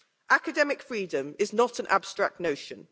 Academic freedom is not an abstract notion.